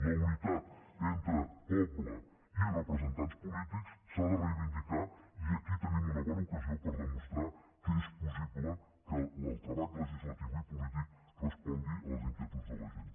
la unitat entre poble i representants polítics s’ha de reivindicar i aquí tenim una bona ocasió per demostrar que és possible que el treball legislatiu i polític respongui a les inquietuds de la gent